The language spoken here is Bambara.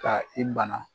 Ka i bana